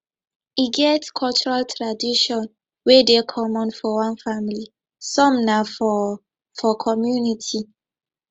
e get cultural tradition wey dey common for one family some na for for community